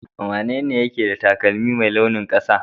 wanene ke da taƙalmin Mai launin kasa?